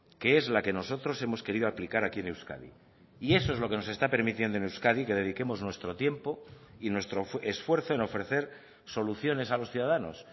que es la que nosotros hemos querido aplicar aquí en euskadi y eso es lo que nos está permitiendo en euskadi que dediquemos nuestro tiempo y nuestro esfuerzo en ofrecer soluciones a los ciudadanos